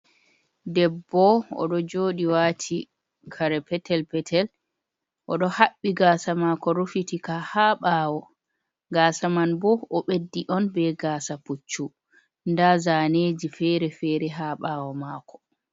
Debbo, o ɗo jooɗi waati kare pretzel-peetel, o ɗo haɓɓi gaasa maako rufitika haa ɓaawo, gaasa man bo, o b ɓeddi on be gaasa puccu, nda zaneeji feere feere haa ɓawo maako.